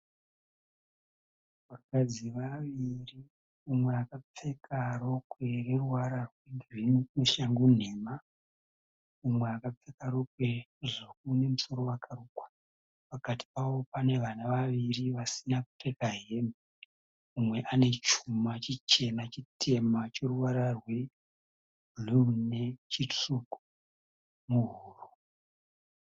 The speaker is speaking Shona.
Vakadzi vaviri umwe akapfeka rokwe reruvara rwegirini neshangu nhema. Umwe akapfeka rokwe dzvuku nemusoro wakarukwa. Pakati pavo pane vana vaviri vasina kupfeka hembe. Umwe ane chuma chichena chitema choruvara rwebhuruu nechitsvuku muhuro.